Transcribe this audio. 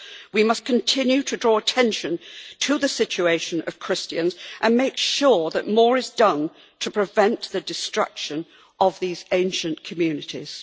We must continue to draw attention to the situation of Christians and to make sure that more is done to prevent the destruction of these ancient communities.